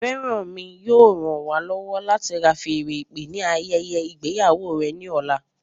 Feranmi yóò ràn wá lọwọ láti fan feèrè ìpè ni ayẹyẹ ìgbéyàwó rẹ ní ọ̀la